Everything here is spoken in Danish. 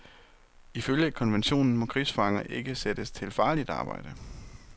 Ifølge konventionen må krigsfanger ikke sættes til farligt arbejde.